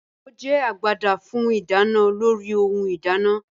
Ìkòkò jẹ́ agbada fún ìdáná lórí ohun ìdáná